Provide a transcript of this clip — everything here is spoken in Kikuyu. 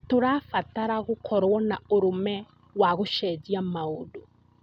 Tũrabatara gũkorwo na ũrũme wa gũcenjia maũndũ.